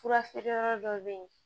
Fura feere yɔrɔ dɔ bɛ yen